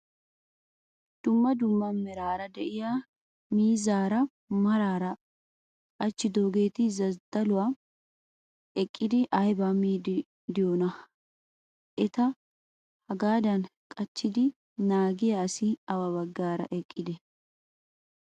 Dumma dumma meraara diyaa miizzara maaraara qachhidoogeti zadaluwaan eqqidi ayinaa miiddi diyoonaa? Eta hagaadan qachchidi naagiyaa asi awa baggaara eqqidee?